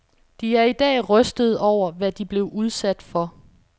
De er i dag rystede over, hvad de blev udsat for.